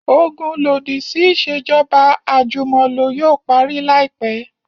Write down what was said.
Ogun lodisi iṣejọba ajumọlo yoo pari laipẹ